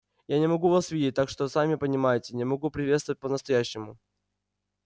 я не могу вас видеть так что сами понимаете не могу приветствовать по-настоящему